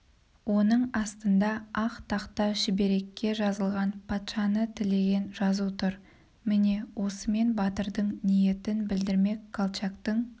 оның астында ақ тақта шүберекке жазған патшаны тілеген жазу тұр міне осымен батырың ниетін білдірмек колчактың